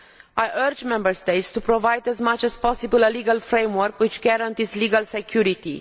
I urge the Member States to provide as much as possible a legal framework which guarantees legal security.